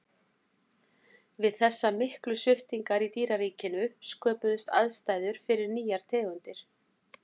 við þessar miklu sviptingar í dýraríkinu sköpuðust aðstæður fyrir nýjar tegundir